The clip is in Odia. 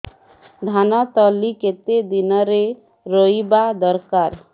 ଧାନ ତଳି କେତେ ଦିନରେ ରୋଈବା ଦରକାର